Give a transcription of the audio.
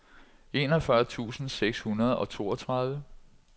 enogfyrre tusind seks hundrede og toogtredive